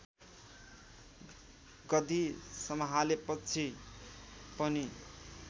गद्दि सम्हालेपछि पनि